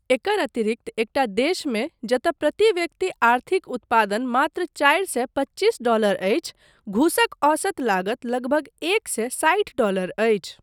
एकर अतिरिक्त एकटा देशमे जतय प्रति व्यक्ति आर्थिक उत्पादन मात्र चारि सए पच्चीस डॉलरअछि, घूसक औसत लागत लगभग एक सए साठि डॉलर अछि।